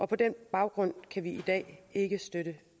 på den baggrund kan vi i dag ikke støtte